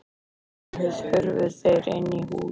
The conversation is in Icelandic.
Síðan hurfu þeir inn í hús.